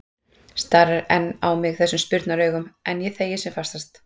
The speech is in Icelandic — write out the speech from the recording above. Starir enn á mig þessum spurnaraugum, en ég þegi sem fastast.